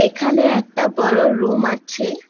এখানে একটা বড়ো রুম আছে।